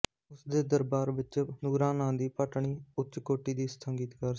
ਉਸ ਦੇ ਦਰਬਾਰ ਵਿੱਚ ਨੂਰਾਂ ਨਾਂ ਦੀ ਭਟਣੀ ਉੱਚ ਕੋਟੀ ਦੀ ਸੰਗੀਤਕਾਰ ਸੀ